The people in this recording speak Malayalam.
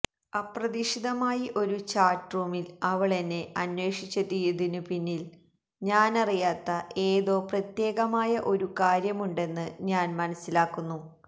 അപ്രതീക്ഷിതമായി ഒരു ചാറ്റ്റൂമില് അവളെന്നെ അന്വേഷിച്ചെത്തിയതിനു പിന്നില് ഞാനറിയാത്ത ഏതോ പ്രത്യേകമായ ഒരു കാര്യമുണ്ടെന്ന് ഞാന് മനസ്സിലാക്കുന്നു